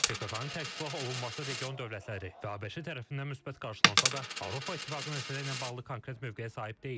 PKK-nın tərksilah olunması region dövlətləri və ABŞ tərəfindən müsbət qarşılansa da, Avropa İttifaqı məsələsi ilə bağlı konkret mövqeyə sahib deyil.